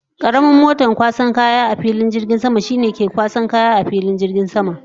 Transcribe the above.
Karamin moton kwasan kaya a filin jirgin sama shine ke shigar da kaya a filin jirgin sama.